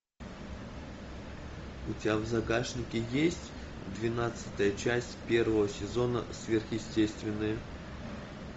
у тебя в загашнике есть двенадцатая часть первого сезона сверхъестественное